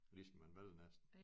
Det skal man vælge næsten